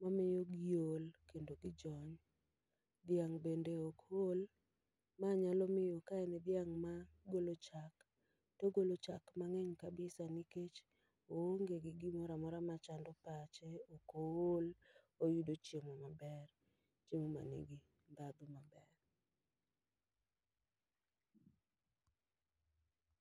ma miyo giol kendo gijony. Dhiang' bende ok ol, ma nyalo miyo ka en dhiang' ma golo chak, togolo chak mang'eny kabisa nikech oonge gi gimoramora ma chando pache. Ok ool, oyudo chiemo maber, chiemo ma nigi ndhadho maber.